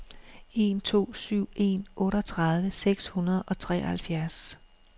en to syv en otteogtredive seks hundrede og treoghalvfjerds